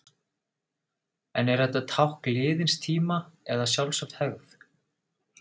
En er þetta tákn liðins tíma, eða sjálfsögð hefð?